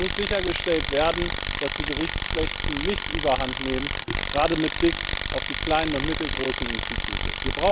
Es muss sichergestellt werden, dass die Berichtspflichten nicht Überhand nehmen, gerade mit Blick auf die kleinen und mittelgroßen Institute.